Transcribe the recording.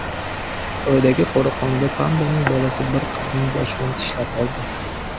Xitoydagi qo‘riqxonada pandaning bolasi bir qizning boshidan tishlab oldi .